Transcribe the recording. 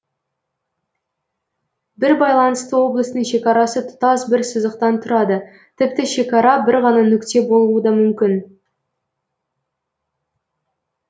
бір байланысты облыстың шекарасы тұтас бір сызықтан тұрады тіпті шекара бір ғана нүкте болуы да мүмкін